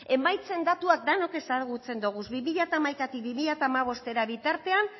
emaitzen datuak denok ezagutzen ditugu bi mila hamaikatik bi mila hamabosttera bitartean